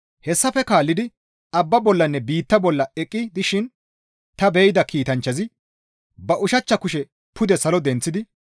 Hessafe kaallidi abbaa bollanne biittaa bolla eqqi dishin ta be7ida kiitanchchazi ba ushachcha kushe pude salo denththidi,